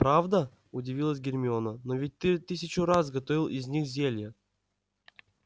правда удивилась гермиона но ведь ты тысячу раз готовил из них зелья